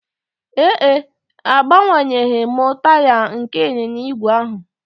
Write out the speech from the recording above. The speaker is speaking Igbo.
Ee e, agbanyeghị m taya nke ịnyịnya ígwè ahụ